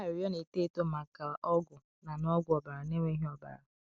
Arịrịọ Na-eto Eto Maka Ọgwụ Na Na Ọgwụ Ọbara Na-enweghị Ọbara.